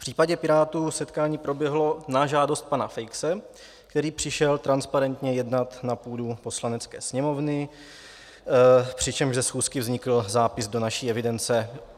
V případě Pirátů setkání proběhlo na žádost pana Feixe, který přišel transparentně jednat na půdu Poslanecké sněmovny, přičemž ze schůzky vznikl zápis do naší evidence.